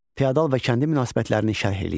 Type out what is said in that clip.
Fiodal və kəndi münasibətlərini şərh eləyin.